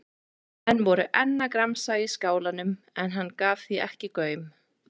Menn voru enn að gramsa í skálanum en hann gaf því ekki gaum.